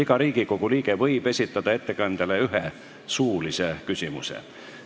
Iga Riigikogu liige võib esitada ettekandjale ühe suulise küsimuse.